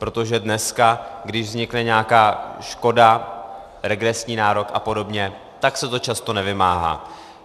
Protože dneska, když vznikne nějaká škoda, regresní nárok a podobně, tak se to často nevymáhá.